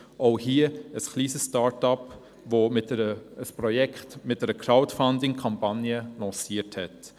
Auch dieses wurde von einem kleine Start-up entwickelt, das dieses Projekt mit einer Crowdfunding-Kampagne lanciert hat.